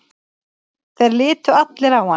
Þeir litu allir á hann.